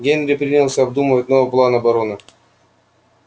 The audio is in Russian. генри принялся обдумывать новый план обороны